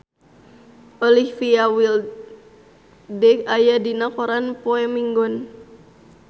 Olivia Wilde aya dina koran poe Minggon